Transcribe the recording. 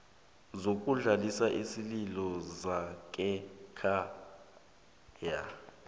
sokudlulisa isililo sangekhaya